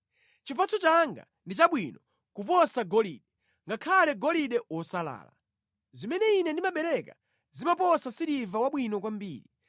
Chipatso changa ndi chabwino kuposa golide, ngakhale golide wosalala; zimene ine ndimabereka zimaposa siliva wabwino kwambiri.